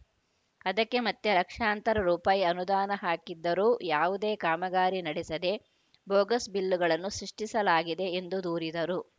ಅದಕ್ಕೆ ಮತ್ತೆ ಲಕ್ಷಾಂತರ ರೂಪಾಯಿ ಅನುದಾನ ಹಾಕಿದ್ದರೂ ಯಾವುದೇ ಕಾಮಗಾರಿ ನಡೆಸದೇ ಬೋಗಸ್‌ ಬಿಲ್‌ಗಳನ್ನು ಸೃಷ್ಟಿಸಲಾಗಿದೆ ಎಂದು ದೂರಿದರು